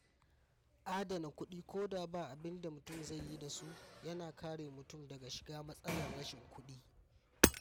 Adana kuɗi ko da ba abin da mutum zai yi da su yana kare mutum daga shiga matsalar rashin kuɗi